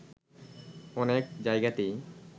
অনেক জায়গাতেই